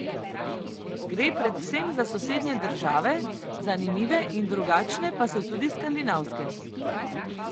Gre predvsem za sosednje države, zanimive in drugačne pa so tudi skandinavske.